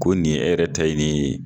Ko nin e yɛrɛ ta ye ni ye.